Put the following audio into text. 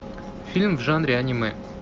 фильм в жанре анимэ